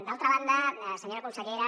d’altra banda senyora consellera